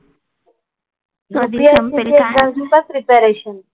UPSC चं करते का प्रिपरेशन?